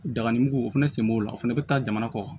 Dagani mugu o fɛnɛ sen b'o la o fɛnɛ bɛ taa jamana kɔ